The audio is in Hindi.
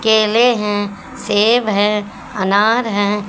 केले हैं सेब है अनार हैं।